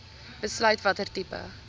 besluit watter tipe